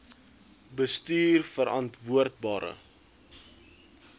bestuurverantwoordbare